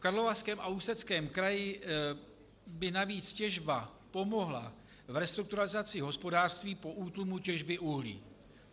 V Karlovarském a Ústeckém kraji by navíc těžba pomohla v restrukturalizaci hospodářství po útlumu těžby uhlí.